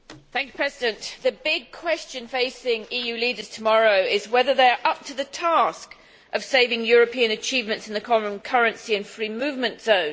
Mr President, the big question facing EU leaders tomorrow is whether they are up to the task of saving European achievements in the common currency and free movement zone.